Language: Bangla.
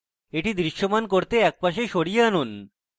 এটিকে দৃশ্যমান করতে একপাশে সরিয়ে আনুন